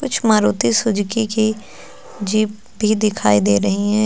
कुछ मारुति सुजुकी की जीप भी दिखाई दे रही हैं।